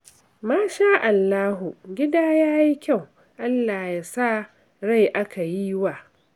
Masha'Allahu, gida ya yi kyau. Allah ya sa rai aka yi wa